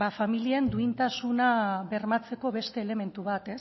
familien duintasuna bermatzeko beste elementu bat